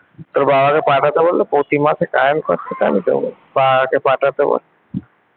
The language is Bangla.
তোর বাবাকে পাঠাতে বললে প্রতি মাসের current খরচাটা আমি দেব ।বাবাকে আগে পাঠাতে বল ।